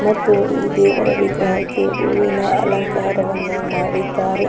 ಮತ್ತು ಈ ದೇವರ ವಿಗ್ರಹಕ್ಕೆ ಹೂವಿನ ಅಲಂಕಾರವನ್ನು ಮಾಡಿದ್ದಾರೆ .